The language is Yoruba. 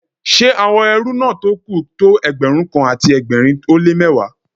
Ṣé àwọn ẹrú náà tó kù tó Ẹgbẹ̀rún kan àti ẹgbẹ̀rin ó lé mẹ́wàá